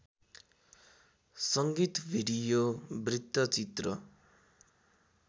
संगीत भिडियो वृत्तचित्र